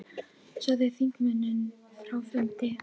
Sagði þingmönnum frá fundi